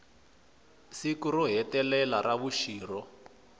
siku ro hetelela ra vuxirho